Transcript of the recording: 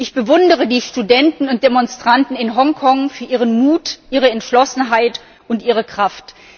Ich bewundere die Studenten und Demonstranten in Hongkong für ihren Mut, ihre Entschlossenheit und ihre Kraft.